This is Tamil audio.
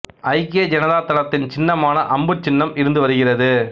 ஐக்கிய ஜனதா தளத்தின் சின்னமாக அம்பு சின்னம் இருந்து வருகிறது